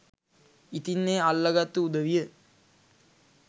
ඉතින් ඒ අල්ලගත්තු උදවිය